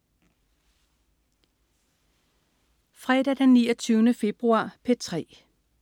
Fredag den 29. februar - P3: